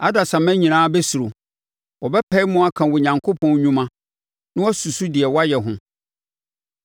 Adasamma nyinaa bɛsuro; wɔbɛpae mu aka Onyankopɔn nnwuma na wɔasusu deɛ wayɛ ho.